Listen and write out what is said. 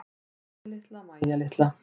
Mæja litla, Mæja litla.